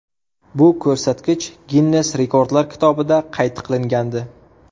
Bu ko‘rsatkich Ginnes rekordlar kitobida qayd qilingandi.